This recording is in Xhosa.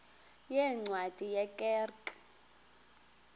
yeencwadi ye kerk